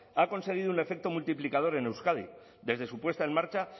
ha conseguido un efecto multiplicador en euskadi desde su puesta en marcha